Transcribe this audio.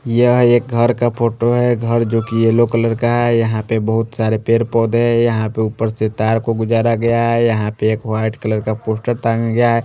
यह एक घर का फोटो है घर जो कि येलो कलर का है यहां पे बहुत सारे पेड़ पौधे है यहां पे ऊपर से तार को गुजरा गया है यहां पे एक व्हाईट कलर का पोस्टर टांगा गया है।